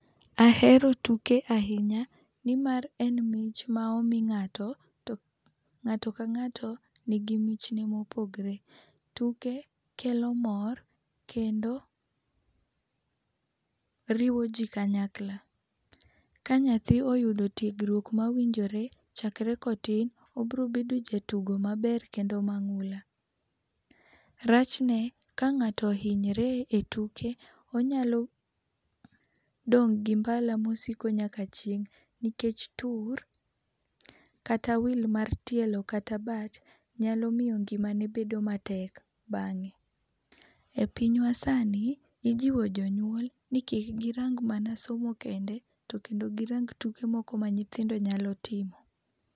Ahero tuke ahinya nimar en mich ma omi ng'ato to ng'ato ka ng'ato nigi michne mopogre. Tuke kelo mor kendo riwoji kanyakla. Ka nyathi oyudo tiegruok mawinjore chakre kotin, obiro bedo jatugo maber kendo mang'ula. Rachne ka ng'ato ohinyre etuke, onyalo dong' gi mbala mosiko nyaka chieng' nikech tur, kata wil mar tielo kata bat, nyalo miyo ngimani bedo matek bang'e. E piny masani ijiwo jonyuol ni kik girang mana somo kende, to kendo girang tuke moko ma nyithindo nyalo timo.